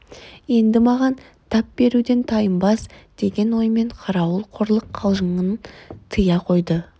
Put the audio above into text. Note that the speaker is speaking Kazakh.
енді маған тап беруден тайынбас деген оймен қарауыл қорлық қалжыңын тия қойды